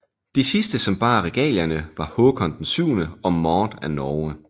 De sidste som bar regalierne var Haakon VII og Maud af Norge